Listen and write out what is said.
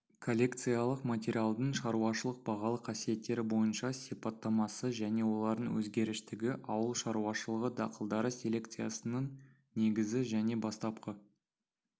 коллекциялық материалдың шаруашылық-бағалы қасиеттері бойынша сипаттамасы және олардың өзгеріштігі ауыл шаруашылығы дақылдары селекциясының негізі жаңа бастапқы